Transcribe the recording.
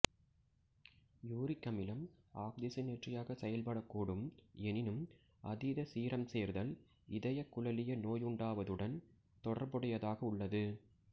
uric அமிலம் ஆக்சிஜனேற்றியாக செயல்படக்கூடும் எனினும் அதீத சீரம் சேர்தல் இதயகுழலிய நோயுண்டாவதுடன் தொடர்புடையதாக உள்ளது